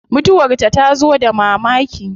Mutuwar ta tazo da mamaki